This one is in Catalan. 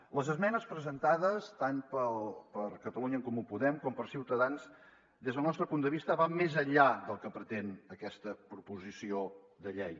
les esmenes presentades tant per catalunya en comú podem com per ciutadans des del nostre punt de vista van més enllà del que pretén aquesta proposició de llei